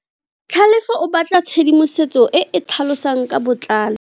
Tlhalefo o batla tshedimosetso e e tlhalosang ka botlalo.